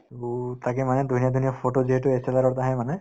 তাকে মানে ধুনীয়া ধুনীয়া photo যিহেতু ত আহে মানে